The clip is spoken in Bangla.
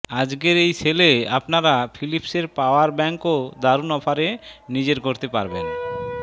আজকের এই সেলে আপনারা ফিলিপসের পাওয়ার ব্যাঙ্কও দারুন অফারে নিজের করতে পারবেন